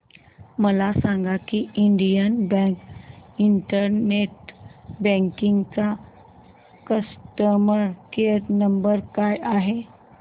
मला सांगा की इंडियन बँक इंटरनेट बँकिंग चा कस्टमर केयर नंबर काय आहे